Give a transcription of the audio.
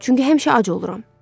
Çünki həmişə ac oluram.